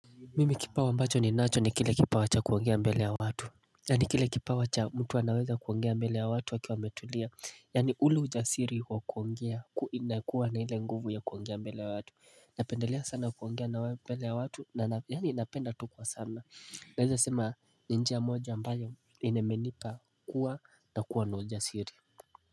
Mimi kipawa ambacho ninacho ni kile kipawa cha kuongea mbele ya watu Yani kile kipawa cha mtu anaweza kuongea mbele ya watu akiwa ametulia yani ule ujasiri wa kuongea inakuwa na ile nguvu ya kuongea mbele ya watu Napendelea sana kuongea mbele ya watu na yani napenda tu kwa sana naeza sema ni njia moja ambayo imenipa kua na kuwa na ujasiri.